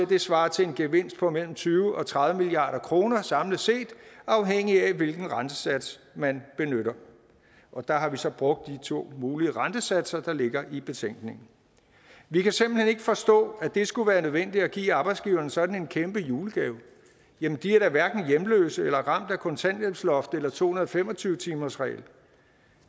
det svarer til en gevinst på mellem tyve til tredive milliard kroner samlet set afhængig af hvilken rentesats man benytter der har vi så brugt de to mulige rentesatser der ligger i betænkningen vi kan simpelt hen ikke forstå at det skulle være nødvendigt at give arbejdsgiverne sådan en kæmpe julegave jamen de er da hverken hjemløse eller ramt af kontanthjælpsloft eller to hundrede og fem og tyve timersregel